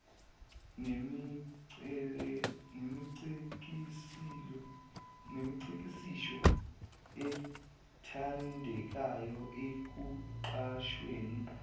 nemicikilisho ethandekayo ekuqashweni